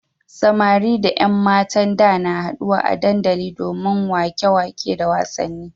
Samari da ƴan matan da na haɗuwa a dandali domin waƙe-waƙe da wasanni.